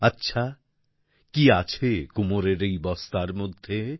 আচ্ছা কী আছে কুমোরের এই বস্তার মধ্যে